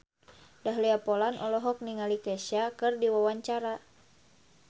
Dahlia Poland olohok ningali Kesha keur diwawancara